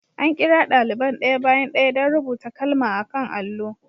An kira daliban ɗaya bayan ɗaya don rubuta kalma a kan allo.